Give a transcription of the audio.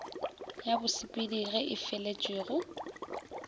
ya bosepedi ye e feletšwego